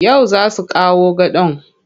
Yau za su kawo gadon.